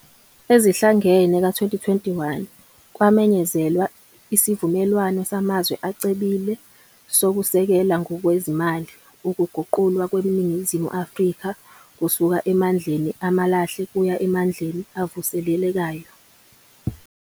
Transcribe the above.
Ezihlangene ka-2021, kwamenyezelwa isivumelwano samazwe acebile sokusekela ngokwezimali ukuguqulwa kweNingizimu Afrika kusuka emandleni amalahle kuya emandleni avuselelekayo.